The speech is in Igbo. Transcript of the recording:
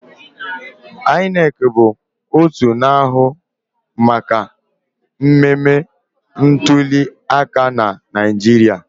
INEC bụ otu na-ahụ maka mmemme ntuliaka na Naịjirịa